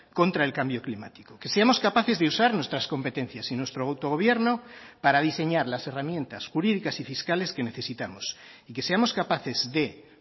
contra el cambio climático que seamos capaces de usar nuestras competencias y nuestro autogobierno para diseñar las herramientas jurídicas y fiscales que necesitamos y que seamos capaces de